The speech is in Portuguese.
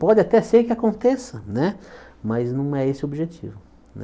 Pode até ser que aconteça né, mas não é esse o objetivo né.